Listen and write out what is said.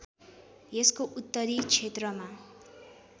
यसको उत्तरी क्षेत्रमा